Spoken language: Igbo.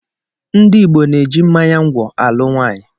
Ndị Igbo na-eji mmánya ngwọ̀ alụ nwaanyị.